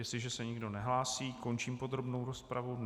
Jestliže se nikdo nehlásí, končím podrobnou rozpravu.